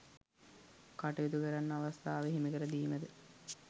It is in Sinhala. කටයුතු කරන්න අවස්ථාව හිමිකර දීම ද